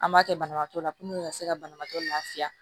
An b'a kɛ banabagatɔ la ka se ka banabaatɔ lafiya